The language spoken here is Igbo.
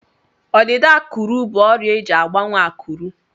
Ọdịda ákụ̀rụ̀ bụ ọrịa eji agbanwe ákụ̀rụ̀.